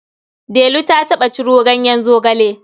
Delu ta taɓa ciro ganyen zogale.